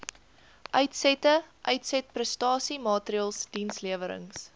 uitsette uitsetprestasiemaatreëls dienslewerings